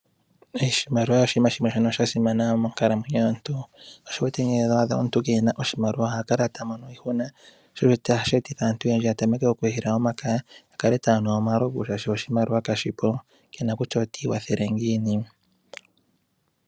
Oshimaliwa oshinima shimwe shasimana monkalamwenyo yomuntu, sho osho wuwete nee ngele owaadha omuntu keena iimaliwa ohakala tamono iihuna sho osho hashi etitha aantu oyendji yatameke okuhila omakaya nenge yakala taya nu omalovu shaashi oshimaliwa kashipo, kena kutya otiikwathele ngiini.